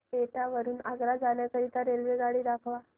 एटा वरून आग्रा जाण्या करीता मला रेल्वेगाडी दाखवा